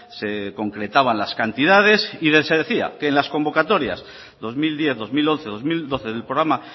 se concretaban las cantidades y se decía que en las convocatorias dos mil diez dos mil once dos mil doce del programa